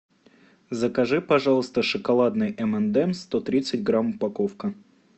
закажи пожалуйста шоколадный эм энд эмс сто тридцать грамм упаковка